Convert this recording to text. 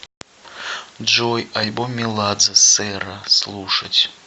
джой альбом меладзе сэра слушать